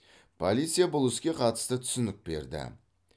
полиция бұл іске қатысты түсінік берді